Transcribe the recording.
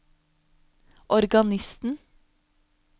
organisten